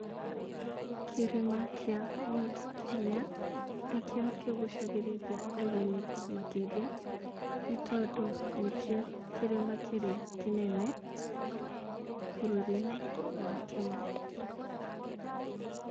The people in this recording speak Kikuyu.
Kĩrĩma kĩa Mount Kenya nĩkĩo kĩgucagĩrĩria ageni, makĩria nĩ tondũ nĩkoĩ kĩrĩma kĩrĩa kĩnene, bũrũri-inĩ wa Kenya.